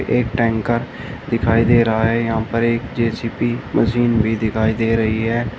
एक टैंकर दिखाई दे रहा है यहां पर एक जे_सी_बी मशीन भी दिखाई दे रही है।